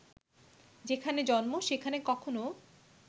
যেখানে জন্ম সেখানে কখনো